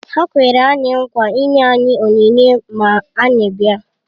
Ha kwere anyị nkwa ịnye anyị onyinye ma anyị bịa